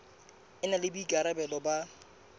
e na le boikarabelo ba